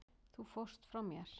Þú fórst frá mér.